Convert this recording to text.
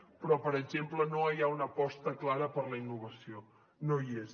però per exemple no hi ha una aposta clara per la innovació no hi és